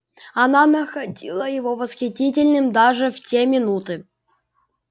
она находила его восхитительным даже в те минуты